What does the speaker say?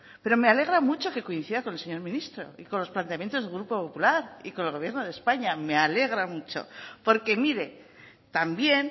pero me alegra mucho que coincida con el señor ministro y con los planteamientos del grupo popular y con el gobierno de españa me alegra mucho porque mire también